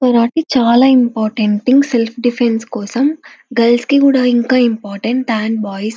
karate చాలా important thing self defence కోసం girls కి కూడా ఇంకా ఇంపార్టెంట్ థన్ బాయ్స్